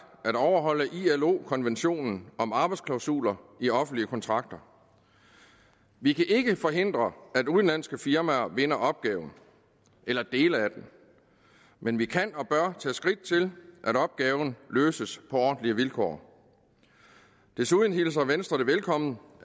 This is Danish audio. at overholde i ilo konventionen om arbejdsklausuler i offentlige kontrakter vi kan ikke forhindre at udenlandske firmaer vinder opgaven eller dele af den men vi kan og bør tage skridt til at opgaven løses på ordentlige vilkår desuden hilser venstre velkommen